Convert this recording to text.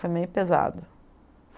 Foi meio pesado.